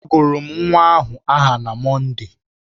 A gụrụ m nwa ahụ aha na Mọnde